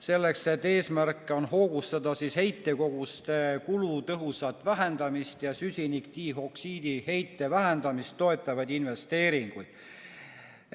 Selle eesmärk on hoogustada heitkoguste kulutõhusat vähendamist ja süsinikdioksiidi heite vähendamist toetavaid investeeringuid.